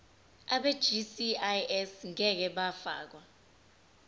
abegcis ngeke bafakwa